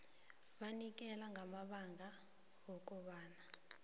banikele ngamabanga wokobana